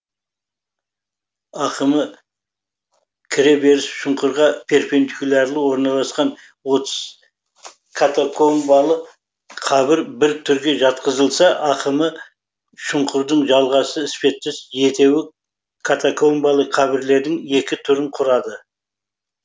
ақымы кіре беріс шұңқырға перпендикулярлы орналасқан отыз катакомбалы қабір бір түрге жатқызылса ақымы шұңқырдың жалғасы іспеттес жетеуі катакомбалы қабірлердің екі түрін құрады